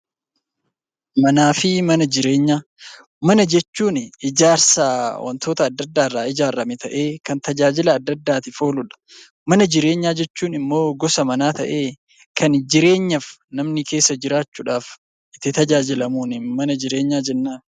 Manaa fi mana jireenyaa mana jechuun kan wantoota adda addaa irra ijaarame ta'ee dhimmoota adda addaaf ooluudha mana nama dhuunfaa ta'ee itti tajaajilamun mana jireenyaa jennaan.